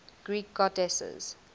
greek goddesses